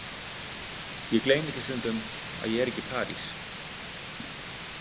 Ég gleymi því stundum að ég er ekki í París.